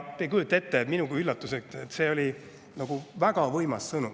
Minugi üllatuseks oli see nagu väga võimas sõnum.